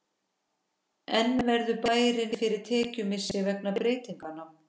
En verður bærinn fyrir tekjumissi vegna breytinganna?